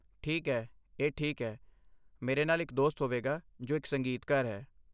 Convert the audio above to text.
ਠੀਕ ਹੈ, ਇਹ ਠੀਕ ਹੈ। ਮੇਰੇ ਨਾਲ ਇੱਕ ਦੋਸਤ ਹੋਵੇਗਾ ਜੋ ਇੱਕ ਸੰਗੀਤਕਾਰ ਹੈ।